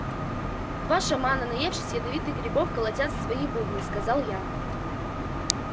два шамана наевшись ядовитых грибов колотят в свои бубны сказал я